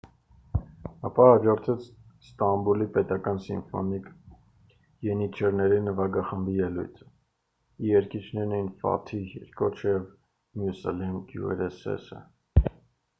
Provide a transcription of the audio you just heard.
ապա հաջորդեց ստամբուլի պետական սիմֆոնիկ ենիչերների նվագախմբի ելույթը և երգիչներն էին ֆաթիհ էրկոչը և մյուսլյում գյուրսեսը